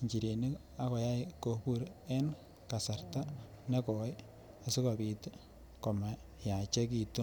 inchirenik ak koyai kobur en kasarta nekoe esikopit tii komayachekitu.